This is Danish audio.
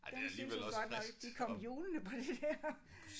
Den syntes hun godt nok de kom hjulende på den der